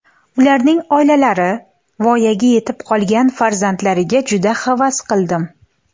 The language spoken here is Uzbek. Ularning oilalari, voyaga yetib qolgan farzandlariga juda havas qildim.